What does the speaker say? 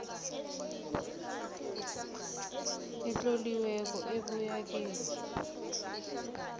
etloliweko ebuya kibo